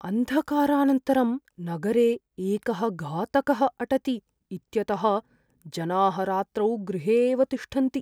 अन्धकारानन्तरं नगरे एकः घातकः अटति इत्यतः जनाः रात्रौ गृहे एव तिष्ठन्ति।